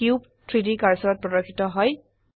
cube 3ডি কাৰ্সাৰত প্ৰদৰ্শিত হয়